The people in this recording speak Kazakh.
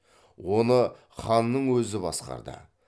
оны ханның өзі басқарды